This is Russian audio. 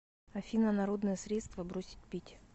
афина народные средства бросить пить